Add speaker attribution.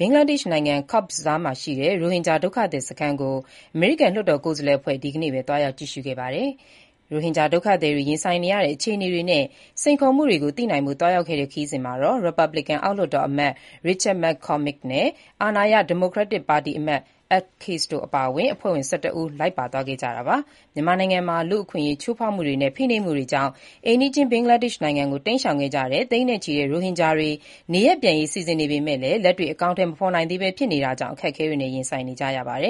Speaker 1: ဘင်္ဂလားဒေ့ရှ်နိုင်ငံ Cox’s Bazar မှာရှိတဲ့ ရိုဟင်ဂျာဒုက္ခသည်စခန်းကို အမေရိကန် လွှတ်တော် ကိုယ်စားလှယ်အဖွဲ့ ဒီနေ့ပဲ သွားရောက်ကြည့်ရှုခဲ့ပါတယ်။ ရိုဟင်ဂျာ ဒုက္ခသည်တွေ ရင်ဆိုင်နေရတဲ့ အခြေအနေတွေနဲ့ စိန်ခေါ်မှုတွေကို သိနိုင်ဖို့ သွားရောက်ခဲ့တဲ့ ခရီးစဉ်မှာတော့ ရီပတ်ဘလစ်ကန်အောက်လွှတ်တော်အမတ် Richard McCormick နဲ့ အာဏာရ ဒီမိုကရက်ပါတီအမတ် Ed Case တို့ အပါအဝင် အဖွဲ့ဝင် ၁၁ ဦး လိုက်ပါသွားခဲ့ကြတာပါ။ မြန်မာနိုင်ငံမှာ လူ့အခွင့်အရေး ချိုးဖောက်မှုတွေနဲ့ ဖိနှိပ်မှုတွေကြောင့် အိမ်နီးချင်း ဘင်္ဂလားဒေ့ရှ် နိုင်ငံကို တိမ်းရှောင်ခဲ့ကြတဲ့ သိန်းနဲ့ချီတဲ့ ရိုဟင်ဂျာတွေ နေရပ်ပြန်ရေး စီစဉ်နေပေမဲ့ လက်တွေ့အကောင်အထည် မဖော်နိုင်သေးဘဲ ဖြစ်နေတာကြောင့် အခက်အခဲတွေနဲ့ ရင်ဆိုင်နေကြရတာပါ။